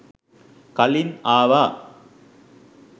කලින් ආවා